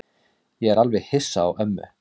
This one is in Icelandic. Ég er alveg hissa á ömmu.